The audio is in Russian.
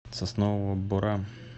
соснового бора